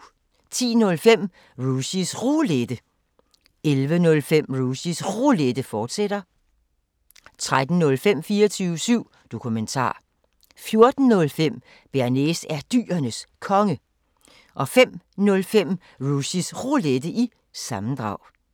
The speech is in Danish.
10:05: Rushys Roulette 11:05: Rushys Roulette, fortsat 13:05: 24syv Dokumentar 14:05: Bearnaise er Dyrenes Konge 05:05: Rushys Roulette – sammendrag